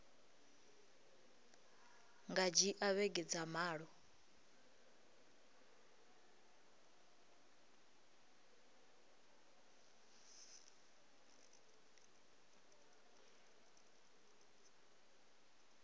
nga dzhia vhege dza malo